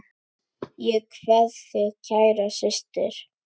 Ég kveð þig kæra systir.